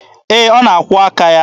Ee, ọ na-akwụọ aka ya.